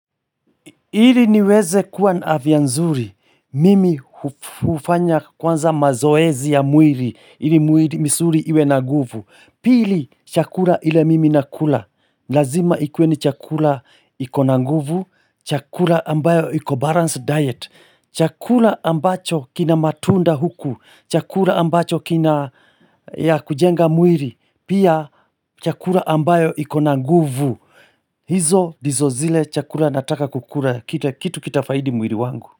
Ili niweze kuwa na afya nzuri. Mimi hufanya kwanza mazoezi ya mwili. Ili mwili misuli iwe na nguvu. Pili chakula ile mimi nakula. Lazima ikuwe ni chakula iko na nguvu. Chakula ambayo iko balanced diet. Chakura ambacho kina matunda huku. Chakula ambacho kina ya kujenga mwili. Pia chakura ambayo ikonanguvu. Hizo ndizo zile chakula nataka kukula kitu kitafaidi mwili wangu.